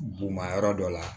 Bugunma yɔrɔ dɔ la